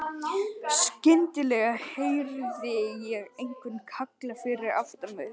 Skyndilega heyrði ég einhvern kalla fyrir aftan mig.